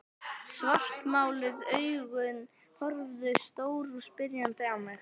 Svartmáluð augun horfðu stór og spyrjandi á mig.